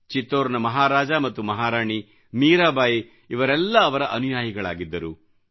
ಚಿತ್ತೋರ್ನವ ಮಹಾರಾಜ ಮತ್ತು ಮಹಾರಾಣಿ ಮೀರಾಬಾಯಿ ಇವರೆಲ್ಲ ಅವರ ಅನುಯಾಯಿಗಳಾಗಿದ್ದರು